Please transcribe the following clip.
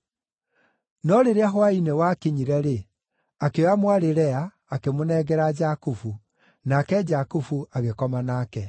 No rĩrĩa hwaĩ-inĩ wakinyire-rĩ, akĩoya mwarĩ Lea, akĩmũnengera Jakubu, nake Jakubu agĩkoma nake.